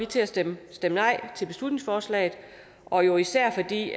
til at stemme nej til beslutningsforslaget og jo især fordi